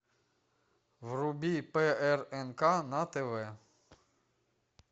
вруби прнк на тв